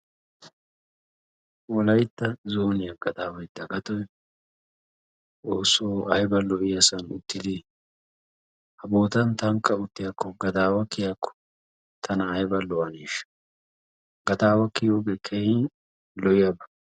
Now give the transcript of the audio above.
Wolaytta zooniya gadaaway Dagatoy Xoosso ayba lo'iyasan uttide! Ha bootan tanka uttiyako gadaawa kiyiyako tana ayba lo'anesha. Gadaawa kiyiyoge keehin lo'iyaba.